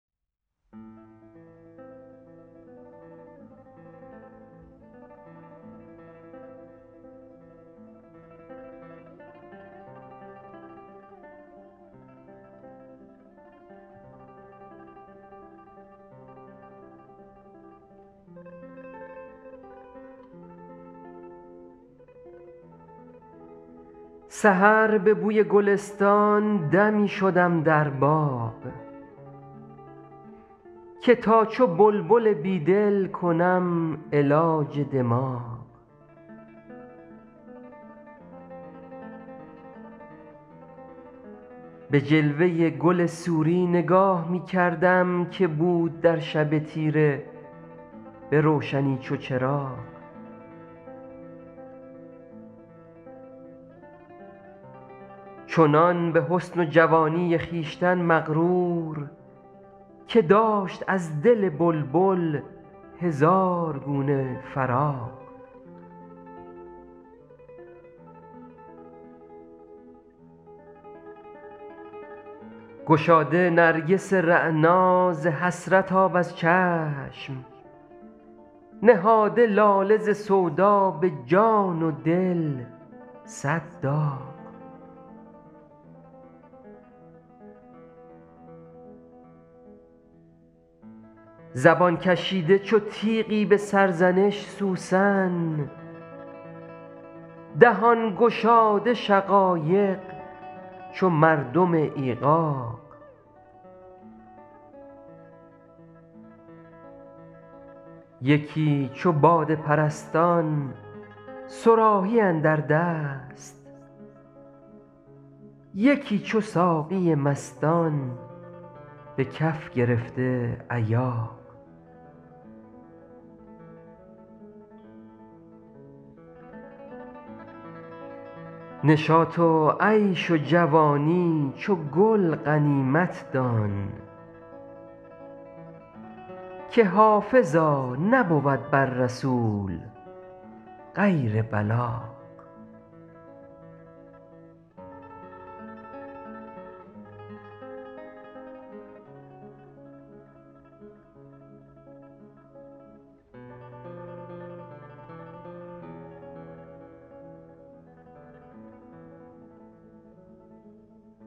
سحر به بوی گلستان دمی شدم در باغ که تا چو بلبل بیدل کنم علاج دماغ به جلوه گل سوری نگاه می کردم که بود در شب تیره به روشنی چو چراغ چنان به حسن و جوانی خویشتن مغرور که داشت از دل بلبل هزار گونه فراغ گشاده نرگس رعنا ز حسرت آب از چشم نهاده لاله ز سودا به جان و دل صد داغ زبان کشیده چو تیغی به سرزنش سوسن دهان گشاده شقایق چو مردم ایغاغ یکی چو باده پرستان صراحی اندر دست یکی چو ساقی مستان به کف گرفته ایاغ نشاط و عیش و جوانی چو گل غنیمت دان که حافظا نبود بر رسول غیر بلاغ